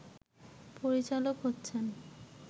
পরিচালক হচ্ছেন